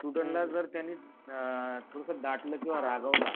student ना जर त्यांनी अ थोडंसं डाटलं किंवा रागावलं